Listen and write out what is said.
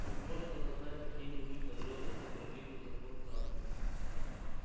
быть может она знает какие-нибудь подробности про битву за форт самтер